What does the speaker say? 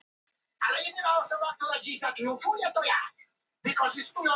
Líkt og með Gíslaháf þá finnst þessi tegund aðeins fyrir sunnan land.